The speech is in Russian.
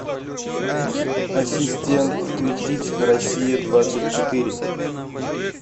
ассистент включить россия двадцать четыре